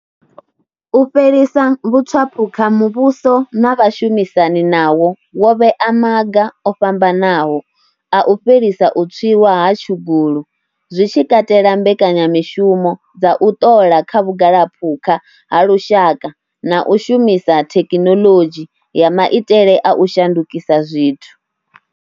U fhelisa vhutswaphukha muvhuso na vhashumisani nawo wo vhea maga o fhambanaho a u fhelisa u tswiwa ha tshugulu, zwi tshi katela mbekanyamushumo dza u ṱola kha vhugalaphukha ha lushaka na u shumisa thekhinoḽodzhi ya maitele a u shandukisa zwithu.